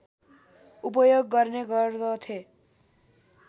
उपयोग गर्ने गर्दथे